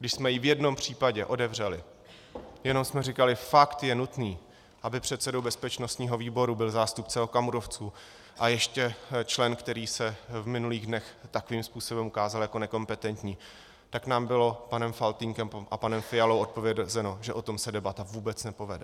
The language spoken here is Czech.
Když jsme ji v jednom případě otevřeli, jenom jsme říkali "Fakt je nutné, aby předsedou bezpečnostního výboru byl zástupce okamurovců, a ještě člen, který se v minulých dnech takovým způsobem ukázal jako nekompetentní?", tak nám bylo panem Faltýnkem a panem Fialou odpovězeno, že o tom se debata vůbec nepovede.